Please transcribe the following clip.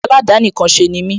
Aládàánìkanṣe ni mí